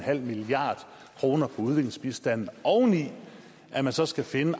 milliard kroner på udviklingsbistanden oven i at man så skal finde